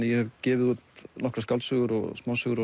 ég hef gefið út nokkrar skáldsögur og smásögur